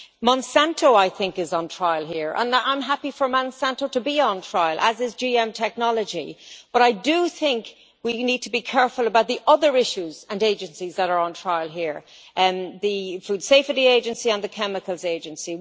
Monsanto, I think, is on trial here and I am happy for Monsanto to be on trial, as is GM technology, but I do think we need to be careful about the other issues and Agencies that are on trial here the Food Safety Agency and the Chemicals Agency.